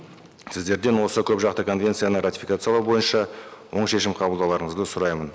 сіздерден осы көпжақты конвенцияны ратификациялау бойынша оң шешім қабылдауларыңызды сұраймын